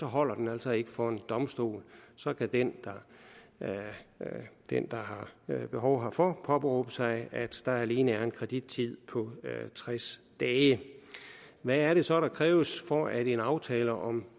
holder den altså ikke for en domstol så kan den der har behov herfor påberåbe sig at der alene er en kredittid på tres dage hvad er det så der kræves for at en aftale om